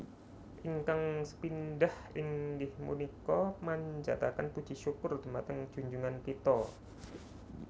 Ingkang sepindhah inggih punika manjaten puji syukur dumateng junjungan kito